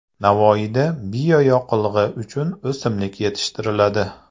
Navoiyda bioyoqilg‘i uchun o‘simlik yetishtiriladi.